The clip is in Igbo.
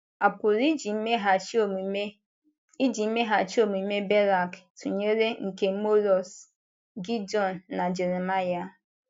A pụrụ iji mmeghachi omume iji mmeghachi omume Berak tụnyere nke Morus, Gidiọn, na Jeremaịa?.